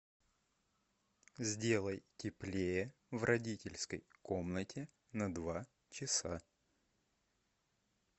сделай теплее в родительской комнате на два часа